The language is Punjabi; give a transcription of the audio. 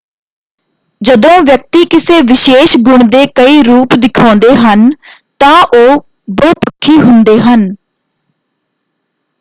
ਜਦੋਂ ਵਿਅਕਤੀ ਕਿਸੇ ਵਿਸ਼ੇਸ਼ ਗੁਣ ਦੇ ਕਈ ਰੂਪ ਦਿਖਾਉਂਦੇ ਹਨ ਤਾਂ ਉਹ ਬਹੁਪੱਖੀ ਹੁੰਦੇ ਹਨ।